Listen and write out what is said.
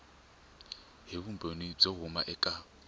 hi vumbhoni byo huma eka